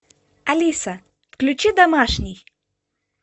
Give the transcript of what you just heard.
алиса включи домашний